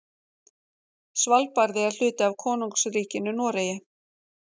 Svalbarði er hluti af Konungsríkinu Noregi.